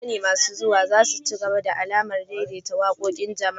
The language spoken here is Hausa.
Wataƙila zamani masu zuwa za su ci gaba da al'adar daidaita waƙoƙin jama'a